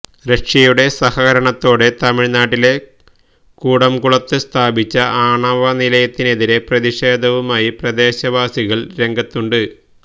റഷ്യയുടെ സഹകരണത്തോടെ തമിഴ്നാട്ടിലെ കൂടംകുളത്ത് സ്ഥാപിച്ച ആണവനിലയത്തിനെതിരെ പ്രതിഷേധവുമായി പ്രദേശവാസികള് രംഗത്തുണ്ട്